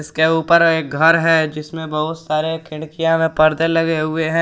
उसके ऊपर एक घर है जिसमें बहुत सारे खिड़कियां में पर्दे लगे हुए हैं।